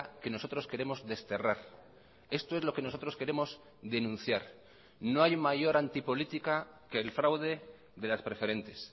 que nosotros queremos desterrar esto es lo que nosotros queremos denunciar no hay mayor antipolítica que el fraude de las preferentes